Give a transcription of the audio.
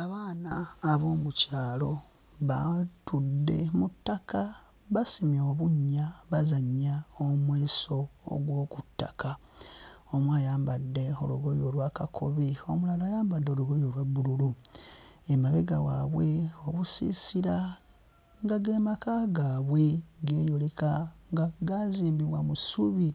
Abaana ab'omukyalo batudde mu ttaka basimye obunnya bazannya omweso ogw'oku ttaka, omu ayambadde olugoye olwa kakobe omulala ayambadde olugoye olwa bbululu, emabega waabwe obusiisira nga ge maka gaabwe geeyoleka nga gaazimbibwa mu ssubi